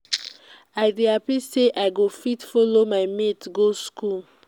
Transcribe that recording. i dey happy say i go fit follow my mates go school.